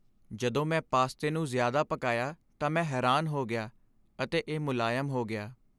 ਜਦੋਂ ਮੈਂ ਪਾਸਤੇ ਨੂੰ ਜ਼ਿਆਦਾ ਪਕਾਇਆ ਤਾਂ ਮੈਂ ਹੈਰਾਨ ਹੋ ਗਿਆ , ਅਤੇ ਇਹ ਮੁਲਾਇਮ ਹੋ ਗਿਆ।